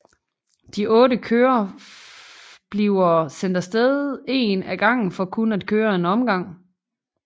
De 8 kører bliver sendt af sted en af gang for kun at køre en omgang